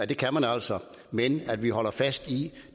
det kan man altså men vi holder fast i